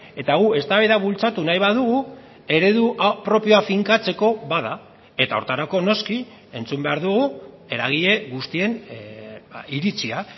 eta gu eztabaida bultzatu nahi badugu eredu propioa finkatzeko bada eta horretarako noski entzun behar dugu eragile guztien iritzia